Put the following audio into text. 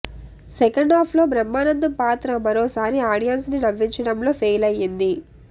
second half లో బ్రహ్మానందం పాత్ర మరోసారి ఆడియన్స్ ని నవ్వించడంలో ఫెయిల్ అయ్యింది